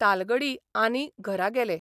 तालगडी आनी घरा गेले.